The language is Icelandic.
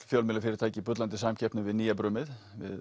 fjölmiðlafyrirtæki í bullandi samkeppni við nýjabrumið